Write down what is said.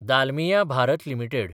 Dalmia Bharat limited